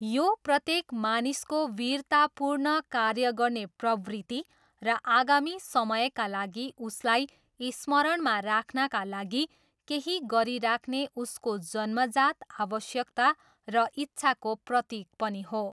यो प्रत्येक मानिसको वीरतापूर्ण कार्य गर्ने प्रवृत्ति र आगामी समयका लागि उसलाई स्मरणमा राख्नाका लागि केही गरिराख्ने उसको जन्मजात आवश्यकता र इच्छाको प्रतीक पनि हो।